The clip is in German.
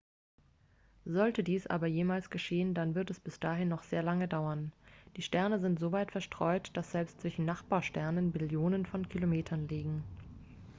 sollte dies aber jemals geschehen dann wird es bis dahin noch sehr lange dauern die sterne sind so weit verstreut dass selbst zwischen nachbarsternen billionen von kilometern liegen